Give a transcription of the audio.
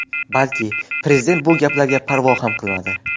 Balki... Prezident bu gaplarga parvo ham qilmadi.